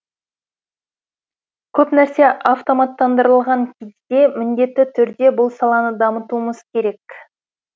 көп нәрсе автоматтандырылған кезде міндетті түрде бұл саланы дамытуымыз керек